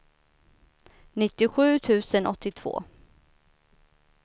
nittiosju tusen åttiotvå